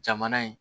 Jamana in